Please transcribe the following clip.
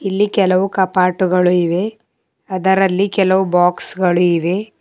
ಇಲ್ಲಿ ಕೆಲವು ಕಪಾಟುಗಳು ಇವೆ ಅದರಲ್ಲಿ ಕೆಲವು ಬಾಕ್ಸ್ ಗಳು ಇವೆ.